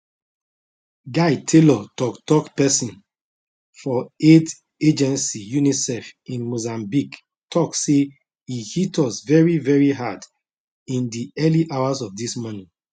guy taylor toktok pesin for aid agency unicef in mozambique tok say e hit us very very hard in di early hours of dis morning